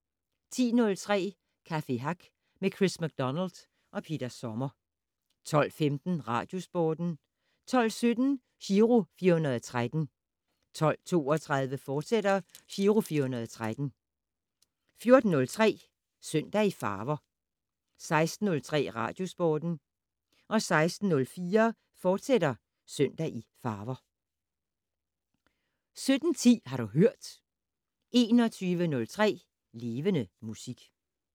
10:03: Café Hack med Chris MacDonald og Peter Sommer 12:15: Radiosporten 12:17: Giro 413 12:32: Giro 413, fortsat 14:03: Søndag i farver 16:03: Radiosporten 16:04: Søndag i farver, fortsat 17:10: Har du hørt 21:03: Levende Musik